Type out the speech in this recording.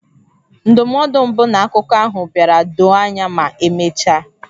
Ndụmọdụ mbụ na akụkọ ahụ bịara doo anya ma emechaa.